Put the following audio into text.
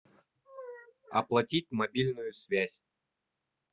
оплатить мобильную связь